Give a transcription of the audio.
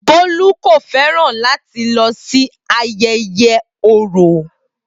Bolu kò fẹ́ràn láti lọ sí ayẹyẹ Oro.